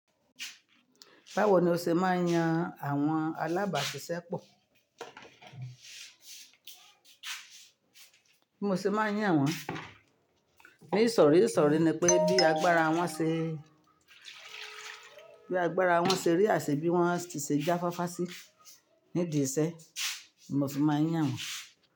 Báwo ni o ṣe máa ń yan àwọn alábàáṣiṣẹ́ pọ̀? Bí mo ṣe máa ń yàn wọ́n? Nisori isori ni pé bí agbára wọn ṣe, bí agbára wọn ṣe rí àṣẹ bí wọn tí ṣe já fáfá sí nídìí iṣẹ́, mo ṣe máa ń yàn wọ́n.